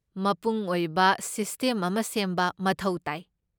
ꯃꯄꯨꯡ ꯑꯣꯏꯕ ꯁꯤꯁꯇꯦꯝ ꯑꯃ ꯁꯦꯝꯕ ꯃꯊꯧ ꯇꯥꯏ꯫